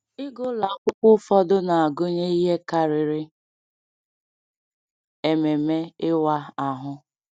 Ịga ụlọ akwụkwọ ụfọdụ na-agụnye ihe karịrị ememe ịwa ahụ.